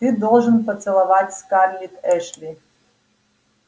ты должен поцеловать скарлетт эшли